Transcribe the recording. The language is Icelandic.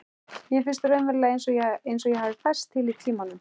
Mér finnst raunverulega einsog ég hafi færst til í tímanum.